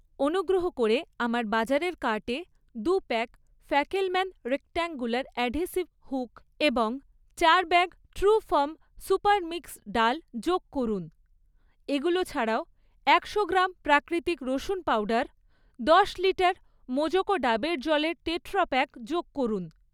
অনুগ্রহ করে আমার বাজারের কার্টে দু pack Fackelmann rectangular adhesive hook এবং চার ব্যাগ ট্রুফার্ম সু্পার মিক্স ডাল যোগ করুন। এগুলো ছাড়াও, একশো গ্রাম প্রাকৃতিক রসুন পাউডার, দশ লিটার মোজোকো ডাবের জলের টেট্রাপ্যাক যোগ করুন।